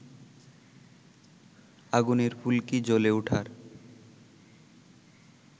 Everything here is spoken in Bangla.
আগুনের ফুলকি জ্বলে ওঠার